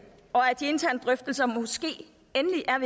og af at de interne drøftelser måske endelig er